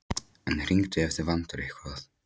En hringdu ef þig vantar eitthvað.